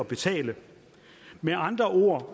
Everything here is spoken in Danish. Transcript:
betale med andre ord